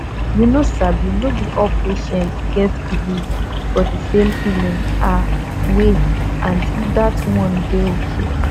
you no sabi no be all patient get belif for the same healing ah way and that one dey ok